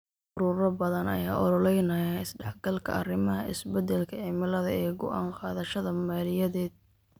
Ururo badan ayaa u ololeynaya isdhexgalka arrimaha isbeddelka cimilada ee go'aan qaadashada maaliyadeed.